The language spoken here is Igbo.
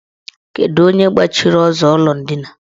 Kedu onye gbachiri ụzọ ụlọ ndina?